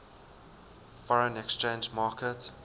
foreign exchange market